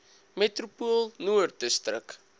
metropool noord distrik